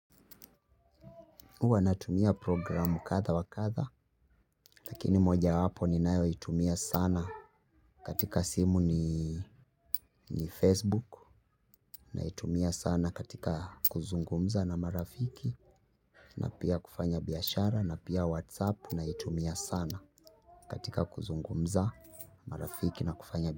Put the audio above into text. Uwa natumia program katha wa katha. Lakini moja wapo ninayo itumia sana. Katika simu ni Facebook. Naitumia sana katika kuzungumza na marafiki. Na pia kufanya biashara na pia WhatsApp. Naitumia sana katika kuzungumza marafiki na kufanya biashara.